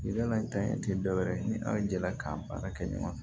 Yɛlɛ dan ye dɔwɛrɛ ni an jɛla k'an baara kɛ ɲɔgɔn na